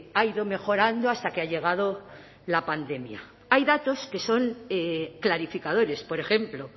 ha ido mejorando hasta que ha llegado la pandemia hay datos que son clarificadores por ejemplo